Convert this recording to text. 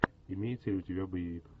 имеется ли у тебя боевик